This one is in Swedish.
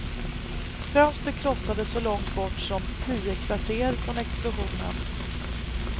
Fönster krossades så långt bort som tio kvarter från explosionen.